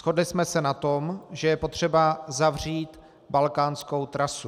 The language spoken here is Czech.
Shodli jsme se na tom, že je potřeba uzavřít balkánskou trasu.